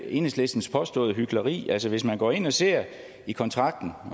enhedslistens påståede hykleri altså hvis man går ind og ser i kontrakten